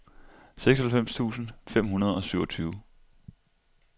seksoghalvfems tusind fem hundrede og syvogtyve